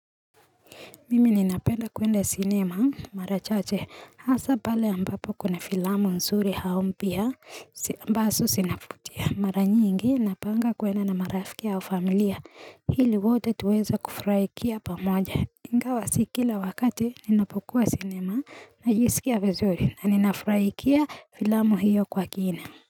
Mimi ninapenda kwenda cinema marachache, hasa pale ambapo kuna filamu nzuri au mpya ambazo zinafutia maranyingi napanga kwenda na marafiki au familia, ili wote tuweze kufurahia pamoja ingawa si kila wakati ninapokua cinema, najisikia vizuri na ninafurahia filamu hiyo kwa kina.